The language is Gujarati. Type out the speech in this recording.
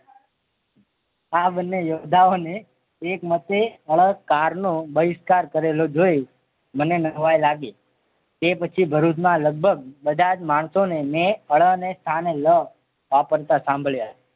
આ બને યોદ્ધાઓને એક મટે ળ કારનો બહિષ્કાર કરેલો જોઈ મને નવાઈ લાગી તે પછી ભરૂચમાં લગભગ બધા જ માણસો ને મેં ળ ને સ્થાને લ વાપરતા સાંભળ્યા